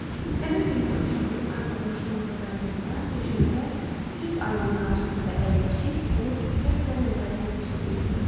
Həmin günün axşamı arvadım işdən evə qayıdanda döşəmədə düz ayının qarşısında əyləşib onu diqqətlə nəzərdən keçirdiyimi gördü.